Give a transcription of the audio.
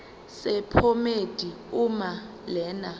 sephomedi uma lena